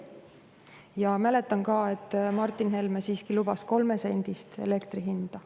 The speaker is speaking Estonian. Ja mäletan ka, et Martin Helme siiski lubas 3-sendist elektri hinda.